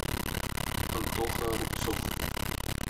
антоха рубцов